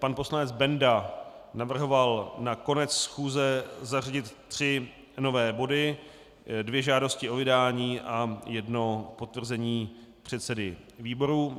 Pan poslanec Benda navrhoval na konec schůze zařadit tři nové body, dvě žádosti o vydání a jedno potvrzení předsedy výboru.